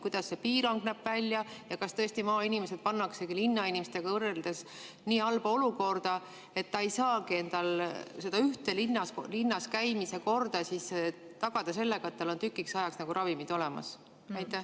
Kuidas see piirang välja näeb ja kas tõesti maainimesed pannaksegi linnainimestega võrreldes nii halba olukorda, et nad ei saagi selle ühe linnas käimise korraga tagada seda, et oleks tükiks ajaks ravimid olemas?